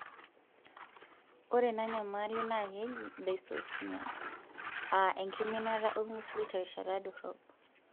Ore ena nyamali naa keji dysosmia aa enkiminata olngusil terishata dorrop.